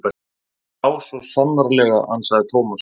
Já, svo sannarlega ansaði Thomas.